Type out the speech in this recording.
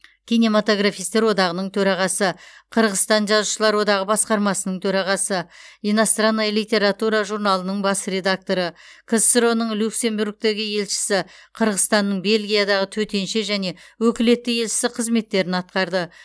кинематографистер одағының төрағасы қырғызстан жазушылар одағы басқармасының төрағасы иностранная литература журналының бас редакторы ксро ның люксембургтегі елшісі қырғызстанның бельгиядағы төтенше және өкілетті елшісі қызметтерін атқарды